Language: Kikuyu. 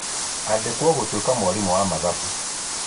Andĩkwo gũtuĩka mwarimũ wa mathabu